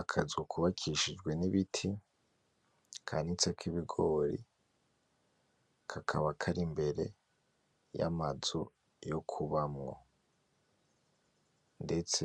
Akazu kubakishijwe n'ibiti, kanitsek'ibigori, kakaba kar'imbere y'amazu yo kubamwo. Ndetse